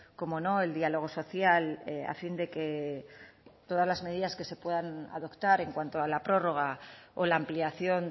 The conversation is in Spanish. cómo no el diálogo social a fin de que todas las medidas que se puedan adoptar en cuanto a la prórroga o la ampliación